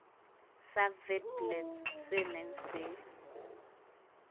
sa witblits se neng se